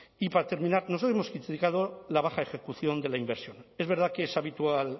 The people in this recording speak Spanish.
y para terminar nos hemos la baja ejecución de la inversión es verdad que es habitual